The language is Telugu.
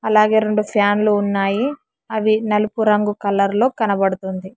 అలాగే రెండు ఫ్యాన్లు ఉన్నాయి అవి నలుపు రంగు కలర్ లో కనబడుతుంది.